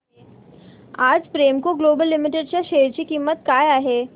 आज Premco global limited च्या share ची किंमत काय आहे